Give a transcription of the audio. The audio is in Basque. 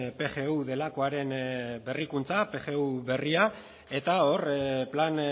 pgu delakoaren berrikuntza pgu berria eta hor plan